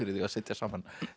að setja saman